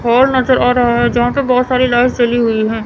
पोल नजर आ रहा है जहां पे बहोत सारी लाइट्स जली हुई है।